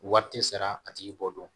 Wari tɛ sara a tigi b'o dɔn